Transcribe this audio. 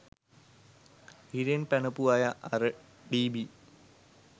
හිරෙන් පැනපු අය අර ඩී.බී